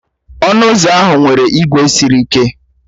Ọnụ ụzọ ahụ nwere ígwè sịrị ike